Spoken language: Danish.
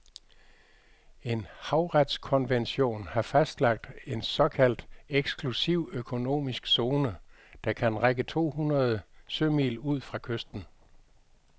En havretskonvention har fastlagt en såkaldt eksklusiv økonomisk zone, der kan række to hundrede sømil ud fra kysten.